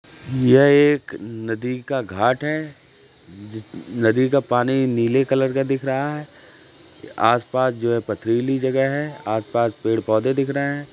यह एक नदी का घाट है। जि नदी का पानी नीले कलर का दिख रहा है। आस-पास जो है पथरीली जगह है। आस-पास पेड़-पौधे दिख रहे हैं।